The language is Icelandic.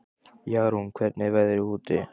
Jarún, hvernig er veðrið úti?